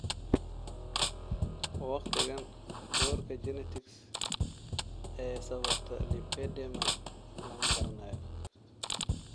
Waqtigaan doorka genetics ee sababta lipedema lama garanayo.